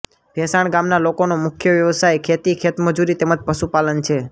ભેંસાણ ગામના લોકોનો મુખ્ય વ્યવસાય ખેતી ખેતમજૂરી તેમ જ પશુપાલન છે